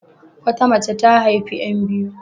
Wata mace ta haifi 'yan biyu.